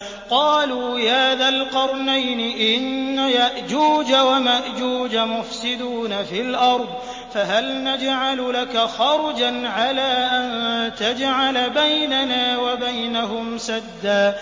قَالُوا يَا ذَا الْقَرْنَيْنِ إِنَّ يَأْجُوجَ وَمَأْجُوجَ مُفْسِدُونَ فِي الْأَرْضِ فَهَلْ نَجْعَلُ لَكَ خَرْجًا عَلَىٰ أَن تَجْعَلَ بَيْنَنَا وَبَيْنَهُمْ سَدًّا